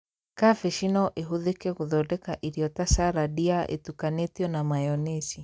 Kambĩji no ĩhũthĩke gũthondeka irio ta carandi ya itukanitio na mayonĩci